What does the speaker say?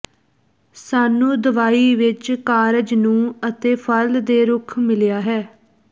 ਸਾਨੂੰ ਦਵਾਈ ਵਿੱਚ ਕਾਰਜ ਨੂੰ ਅਤੇ ਫਲ ਦੇ ਰੁੱਖ ਮਿਲਿਆ ਹੈ